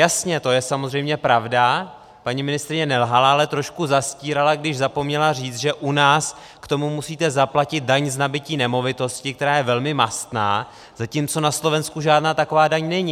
Jasně, to je samozřejmě pravda, paní ministryně nelhala, ale trošku zastírala, když zapomněla říct, že u nás k tomu musíte zaplatit daň z nabytí nemovitosti, která je velmi mastná, zatímco na Slovensku žádná taková daň není.